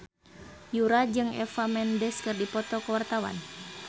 Yura jeung Eva Mendes keur dipoto ku wartawan